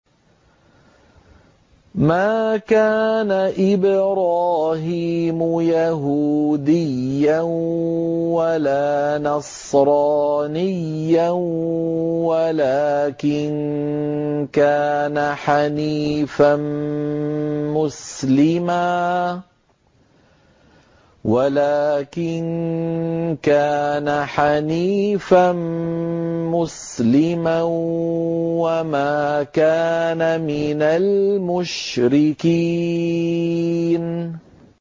مَا كَانَ إِبْرَاهِيمُ يَهُودِيًّا وَلَا نَصْرَانِيًّا وَلَٰكِن كَانَ حَنِيفًا مُّسْلِمًا وَمَا كَانَ مِنَ الْمُشْرِكِينَ